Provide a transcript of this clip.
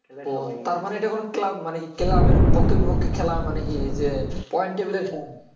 ওহ তার মানে এইটা কোনো club মানে club এর পক্ষে বিপক্ষে খেলা মানে যে point table এ খেলা